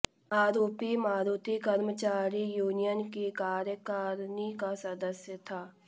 आरोपी मारूति कर्मचारी यूनियन की कार्यकारिणी का सदस्य था